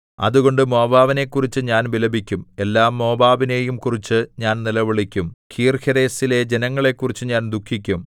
അതുകൊണ്ട് മോവാബിനെക്കുറിച്ച് ഞാൻ വിലപിക്കും എല്ലാ മോവാബിനെയും കുറിച്ച് ഞാൻ നിലവിളിക്കും കീർഹേരെസിലെ ജനങ്ങളെക്കുറിച്ച് ഞാൻ ദുഃഖിക്കും